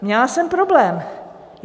Měla jsem problém.